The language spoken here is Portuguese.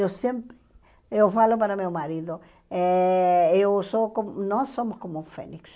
Eu sempre eu falo para meu marido, eh eu sou como nós somos como um fênix.